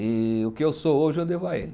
E o que eu sou hoje, eu devo a ele.